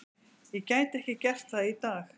Ég gæti ekki gert það í dag.